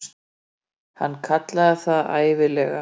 Hann kallaði hana það ævinlega.